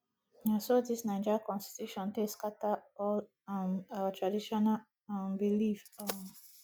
na so dis naija constitution take scatter all um our traditional um belief um